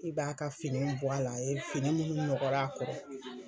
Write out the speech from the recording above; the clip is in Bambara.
I b'a ka fini bɔ a la a ye fini minnu nɔgɔr'a kɔrɔ